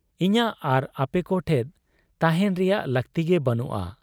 ᱤᱧᱟᱹᱜ ᱟᱨ ᱟᱯᱮᱠᱚ ᱴᱷᱮᱫ ᱛᱟᱦᱮᱸᱱ ᱨᱮᱭᱟᱜ ᱞᱟᱹᱠᱛᱤᱜᱮ ᱵᱟᱹᱱᱩᱜ ᱟ ᱾